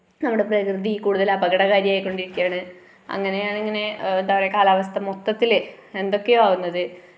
നമ്മുടെ പ്രകൃതി കൂടുതല് അപകടകാരിയായികൊണ്ടിരിക്കയാണ്. അങ്ങനെയാണ് ഇങ്ങനെ എന്താ പറയുക കാലാവസ്ഥ മൊത്തത്തില് എന്തൊക്കയോ ആവുന്നത്.